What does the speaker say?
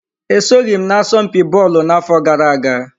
E soghị m n'asọmpi bọọlụ n'afọ gara aga.